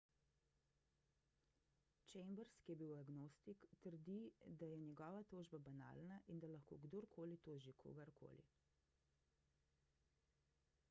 chambers ki je agnostik trdi da je njegova tožba banalna in da lahko kdor koli toži kogar koli